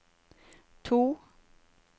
to